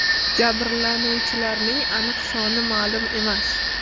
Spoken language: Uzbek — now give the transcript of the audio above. Jabrlanuvchilarning aniq soni ma’lum emas.